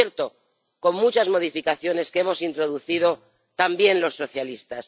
Por cierto, con muchas modificaciones que hemos introducido, también, los socialistas.